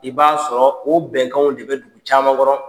I b'a sɔrɔ o bɛnkanw de bɛ dugu caaman kɔnɔ.